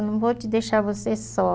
Eu não vou te deixar você só.